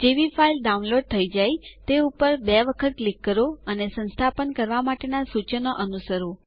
જેવી file download થઇ જાય તે ઉપર બે વખત ક્લિક કરો અને સંસ્થાપન કરવા માટે સૂચનો અનુસરો